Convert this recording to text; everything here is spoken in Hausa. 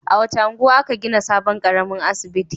A wace unguwa aka gina sabon ƙaramin asibiti?